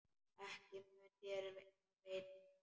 Ekki mun þér af veita.